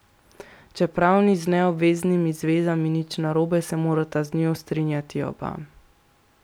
Čeprav ni z neobveznimi zvezami nič narobe, se morata z njo strinjati oba.